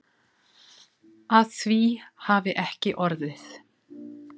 Að því hafi ekki orðið.